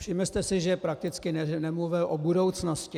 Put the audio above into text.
Všimli jste si, že prakticky nemluvil o budoucnosti.